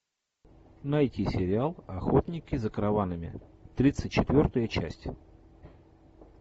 найти сериал охотники за караванами тридцать четвертая часть